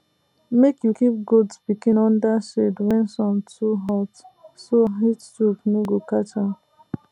make you keep goat pikin under shade when sun too hot so heatstroke no go catch dem